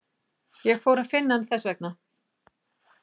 Ég fór að finna hann þess vegna.